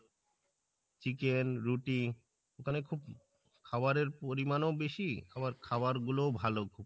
chicken রুটি ওখানে খুব খাওয়ারের পরিমাণ ও বেশি আবার খাওয়ারগুলো ও ভালো